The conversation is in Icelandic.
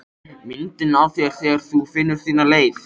Myndina af þér þegar þú finnur þína leið.